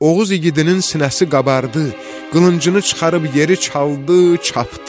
Oğuz igidinin sinəsi qabardı, qılıncını çıxarıb yeri çaldı, çapdı.